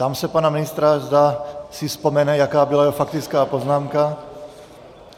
Ptám se pana ministra, zda si vzpomene, jaká byla jeho faktická poznámka.